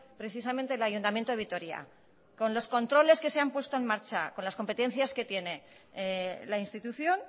precisamente el ayuntamiento de vitoria con los controles que se han puesto en marcha con las competencias que tiene la institución